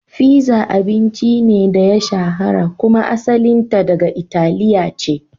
Fizza abincin ne da ya shahara kuma asalinta daga Italiya ce.